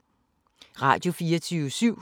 Radio24syv